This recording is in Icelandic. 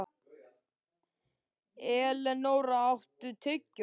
Elenóra, áttu tyggjó?